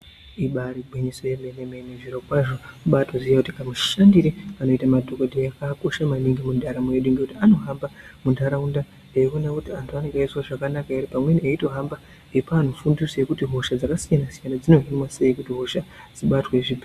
Ibari gwinyiso yemene mene zviro kwazvo kubaatoziye kuti kamushandire kanoite madhokodheya kakakosha maningi mundaramo yedu ngekuti anohamba muntaraunda eiona kuti antu anenge eizwa zvakanaka ere pamweni eitohamba eipa antu fundiso yekuti hosha dzakasiyana siyana dzinohinwa sei kuti hosha dzibatwe zvibhe.